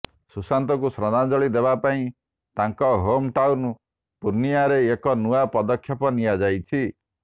ସୁଶାନ୍ତଙ୍କୁ ଶ୍ରଦ୍ଧାଞ୍ଜଳି ଦେବା ପାଇଁ ତାଙ୍କ ହୋମଟାଉନ ପୂର୍ଣ୍ଣିଆରେ ଏକ ନୂଆ ପଦକ୍ଷେପ ନିଆଯାଇଛି